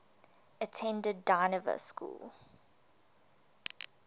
attended dynevor school